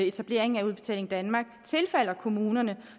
etableringen af udbetaling danmark tilfalder kommunerne